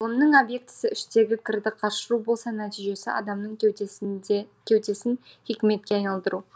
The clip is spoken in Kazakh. ғылымның обьектісі іштегі кірді қашыру болса нәтижесі адамның кеудесін хикметке айналдыру